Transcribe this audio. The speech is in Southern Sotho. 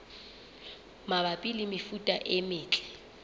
mabapi le mefuta e metle